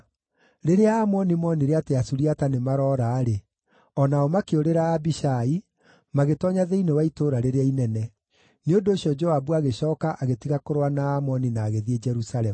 Rĩrĩa Aamoni moonire atĩ Asuriata nĩmaroora-rĩ, o nao makĩũrĩra Abishai, magĩtoonya thĩinĩ wa itũũra rĩrĩa inene. Nĩ ũndũ ũcio Joabu agĩcooka agĩtiga kũrũa na Aamoni na agĩthiĩ Jerusalemu.